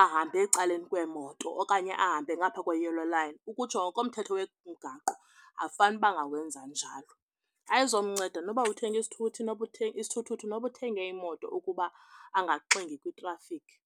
ahambe ecaleni kweemoto okanye ahambe ngapha kwe-yellow line, ukutsho ngokomthetho wemigaqo akufanuba angawenza njalo. Ayizomnceda noba uthenge isithuthi, isithuthuthu noba uthenge imoto ukuba angaxingi kwitrafikhi.